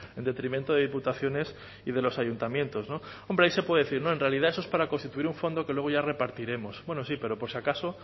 en detrimento de diputaciones y de los ayuntamientos hombre ahí se puede decir no en realidad eso es para constituir un fondo que luego ya repartiremos bueno sí pero por si acaso